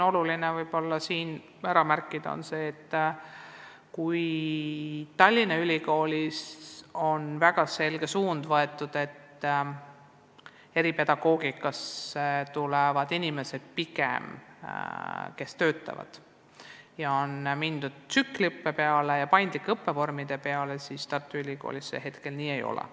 Oluline on siinkohal märkida ka seda, et kui Tallinna Ülikoolis on võetud väga selge suund, et eripedagoogikat tulevad õppima pigem inimesed, kes juba töötavad, ja on mindud tsükliõppe ja paindlike õppevormide rakendamisele, siis Tartu Ülikoolis see nii ei ole.